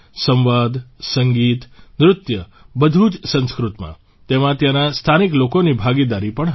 સંવાદ સંગીત નૃત્ય બધું જ સંસ્કૃતમાં તેમાં ત્યાંના સ્થાનિક લોકોની ભાગીદારી પણ હતી